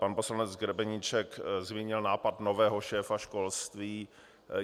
Pan poslanec Grebeníček zmínil nápad nového šéfa školství.